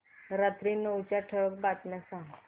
रात्री नऊच्या ठळक बातम्या सांग